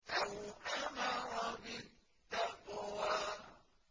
أَوْ أَمَرَ بِالتَّقْوَىٰ